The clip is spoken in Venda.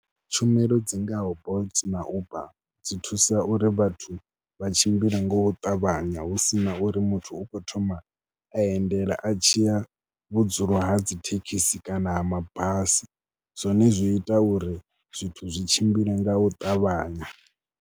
Tshumelo dzi ngaho Bolt na Uber dzi thusa uri vhathu vha tshimbile ngo ṱavhanya hu si na uri muthu u khou thoma a endela a tshi ya vhudzulo ha dzi thekhisi kana ha mabasi zwone zwi ita uri zwithu zwi tshimbile nga u ṱavhanya.